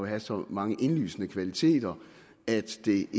have så mange indlysende kvaliteter at det